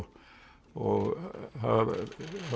og